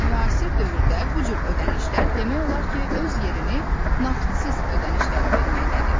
Müasir dövrdə bu cür ödənişlər demək olar ki, öz yerini nağdsız ödənişlərə verməkdədir.